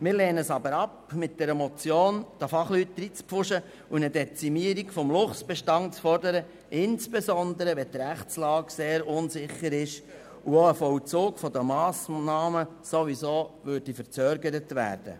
Wir lehnen es aber ab, den Fachleuten mit dieser Motion in die Arbeit hineinzupfuschen und eine Dezimierung des Luchsbestands zu fordern, insbesondere wenn die Rechtslage sehr unsicher ist und auch ein Vollzug der Massnahmen sowieso verzögert würde.